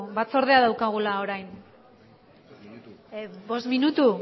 batzordea daukagula orain bost minutu